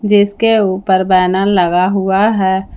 जिसके ऊपर बैनर लगा हुआ है।